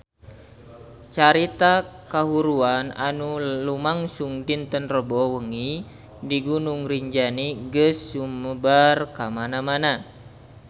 Carita kahuruan anu lumangsung dinten Rebo wengi di Gunung Rinjani geus sumebar kamana-mana